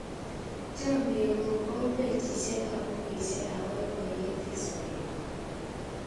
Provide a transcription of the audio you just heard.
Chomye ng'ung' kou pejisyek ap pukuisyek ap poipoiyet eng' sobennyu.